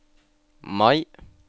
Mai